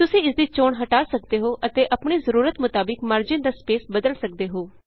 ਤੁਸੀਂ ਇਸ ਦੀ ਚੋਣ ਹਟਾ ਸਕਦੇ ਹੋ ਅਤੇ ਆਪਣੀ ਜ਼ਰੂਰਤ ਮੁਤਾਬਿਕ ਮਾਰਜਿਨ ਦਾ ਸਪੇਸ ਬਦਲ ਸਕਦੇ ਹੋ